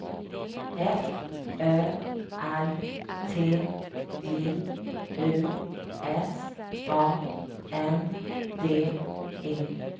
F Ö R T J U S A N D E